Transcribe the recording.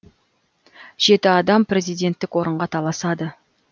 жеті адам президенттік орынға таласады